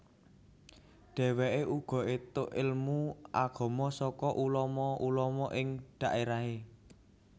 Dheweke uga entuk ilmu agama saka ulama ulama ing dhaerahe